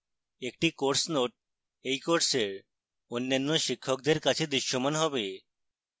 একটি course note এই কোর্সের অন্যান্য শিক্ষকদের কাছে দৃশ্যমান হবে